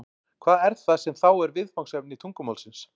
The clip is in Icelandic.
Hvað er það sem þá er viðfangsefni tungumálsins?